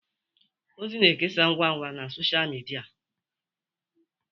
ozi na-ekesa ngwa ngwa na Sọsha midia